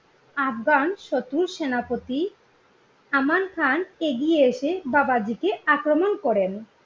আগফান শত্রুর সেনাপতি আমান খান এগিয়ে এসে বাবাজিকে আক্রমণ করেন।